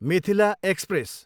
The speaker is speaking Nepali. मिथिला एक्सप्रेस